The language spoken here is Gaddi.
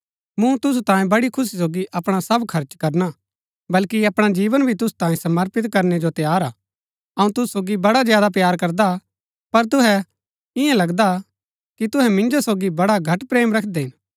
मूँ तुसु तांयें बड़ी खुशी सोगी अपणा सब खर्च करणा बल्कि अपणा जीवन भी तुसु तांई समर्पित करनै जो तैयार हा अऊँ तुसु सोगी बड़ा ज्यादा प्‍यार करदा हा पर तुहै इन्या लगदा कि तुहै मिन्जो सोगी बड़ा घट प्रेम रखदै हिन